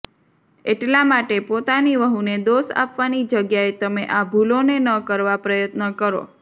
એટલા માટે પોતાની વહુને દોષ આપવાની જગ્યાએ તમે આ ભૂલોને ન કરવાં પ્રયત્ન કરો